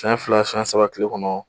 Siyɛn fila siyɛn saba tile kɔnɔ